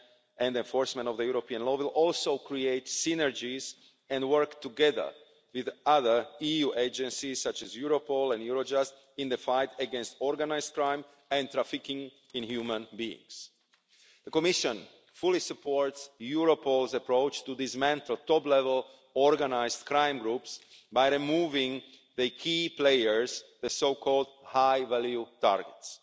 and enforcement of European law, will also create synergies and work together with other EU agencies, such as Europol and Eurojust, in the fight against organised crime and trafficking in human beings. The Commission fully supports Europol's approach to dismantling top-level organised crime groups by removing the key players, the so called high-value targets.